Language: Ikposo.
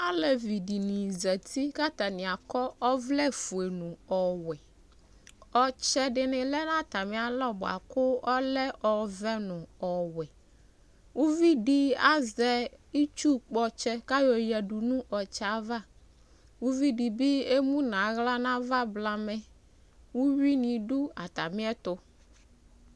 Alevi di ni zati kʋ atani akɔ ɔvlɛ fue nʋ ɔwɛ Ɔtsɛ di ni lɛ nʋ atami alɔ boa kʋ ɔlɛ ɔvɛ nʋ ɔwɛ Uvi di azɛ itsu kpɔtsɛ kʋ ayɔyadu nʋ ɔtsɛ yɛ ava Uvi di bi emu nʋ aɣla n'ava blamɛ Uyui ni dʋ atami ɛtʋ